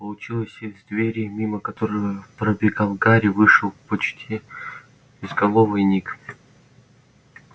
получилось из двери мимо которой пробегал гарри вышел почти безголовый ник